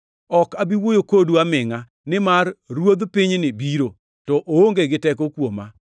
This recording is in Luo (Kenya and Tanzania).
Ok abi wuoyo kodu amingʼa nimar ruodh pinyni biro, to oonge gi teko kuoma.